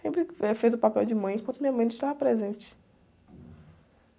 Sempre, eh, fez o papel de mãe enquanto minha mãe não estava presente.